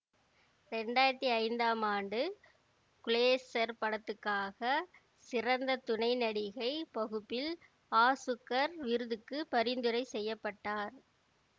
இரண்டு ஆயிரத்தி ஐந்தாம் ஆண்டு குளேசர் படத்துக்காக சிறந்த துணை நடிகை பகுப்பில் ஆசுக்கர் விருதுக்கு பரிந்துரை செய்ய பட்டார்